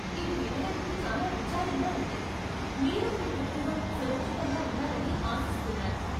ఇది వినడానికి చాలా విచారంగా ఉంది, మీరు మీ కుటుంబం సురక్షితంగా ఉన్నారని ఆశిస్తున్నాను.